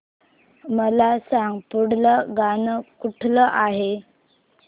मला सांग पुढील गाणं कुठलं आहे